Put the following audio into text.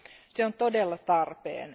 Se on todella tarpeen.